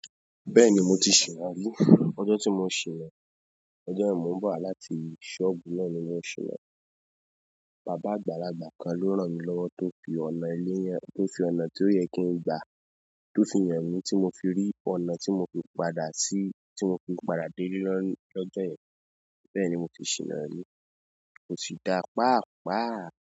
Bẹ́ẹ̀ni mo ti ṣìná rí. Ọjọ́ tí mo ṣìná, ọjọ́ yẹ̀n n bo wà láti sọ́obu náà ni mo ṣìná. Bàbá àgbàlagbà kan ló ràn mí lọ́wọ́ tó fi ọ̀nà eléyi, tó fi ọ̀nà tó yẹ kí n gbà tó fi hàn mí tí mo fi rí ọ̀nà tí mo fi padà sí, tí mo fi padà déle lọ́jọ́ yẹ̀n. Bẹ́ẹ̀ni mo ti ṣìná rí, ko si dáa pàápàá.